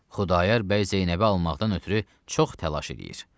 Xudayar bəy Zeynəbi almaqdan ötrü çox təlaş eləyir.